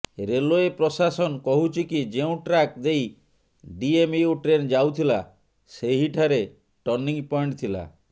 railway ପ୍ରଶାସନ କହୁଛି କି ଯେଉଁ ଟ୍ରାକ ଦେଇ ଡିଏମୟୁ ଟ୍ରେନ ଯାଉଥିଲା ସେହିଠାରେ ଟର୍ଣ୍ଣିଂ ପଏଣ୍ଟ ଥିଲା